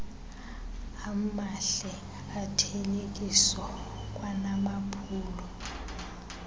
amahle othelekiso kwanamaphulo